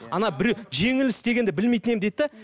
ана біреу жеңіліс дегенді білмейтін едім дейді де